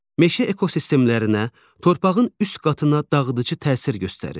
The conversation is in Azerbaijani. Meşə ekosistemlərinə, torpağın üst qatına dağıdıcı təsir göstərir.